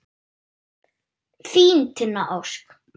Þín, Tinna Ósk.